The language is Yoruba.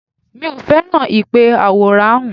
Mi ò fẹ́ràn ìpè àwòránhùn